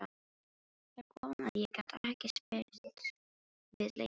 Þar kom að ég gat ekki spyrnt við lengur.